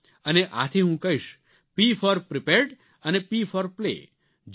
અને આથી હું કહીશ P for prepared and P for play જે રમે તે ખિલે